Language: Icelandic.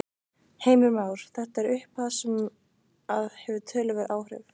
Heimir Már: Þetta er upphæð sem að hefur töluverð áhrif?